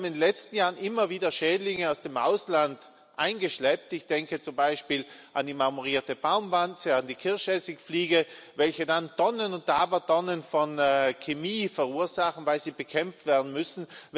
Wir haben in den letzten Jahren immer wieder Schädlinge aus dem Ausland eingeschleppt. Ich denke zum Beispiel an die marmorierte Baumwanze oder an die Kirschessigfliege, welche dann Tonnen und Abertonnen von Chemie verursachen, weil sie bekämpft werden müssen.